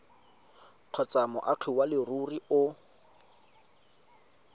kgotsa moagi wa leruri o